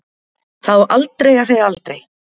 Það á aldrei að segja aldrei.